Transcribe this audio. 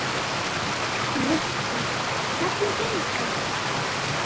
Rikka, hvernig gengur?